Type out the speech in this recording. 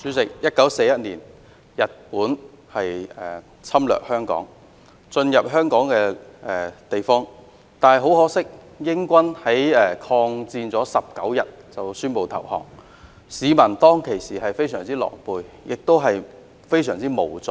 主席 ，1941 年日本侵略香港，進入香港的地方，但很可惜，英軍抗戰19天後便宣布投降，市民當時非常狼狽，亦非常無助。